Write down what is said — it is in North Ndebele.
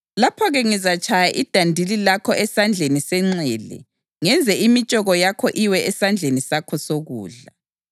Lapho-ke ngizatshaya idandili lakho esandleni senxele ngenze imitshoko yakho iwe esandleni sakho sokudla.